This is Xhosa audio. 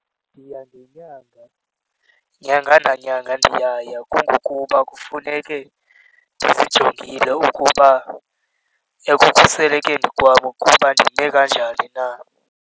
Ndiya ngenyanga. Nyanga nanyanga ndiyaya kungokuba kufuneke ndizijongile ukuba ekukhuselekeni kwabo ukuba ndime kanjani na.